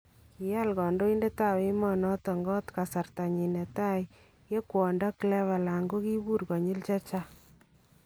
Kiyaal kandoindetab emet noton koot kasarta nyin netai yee kwondo Cleveland kokibuur konyill chechang